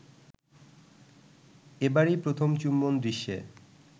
এবারই প্রথম চুম্বন দৃশ্যে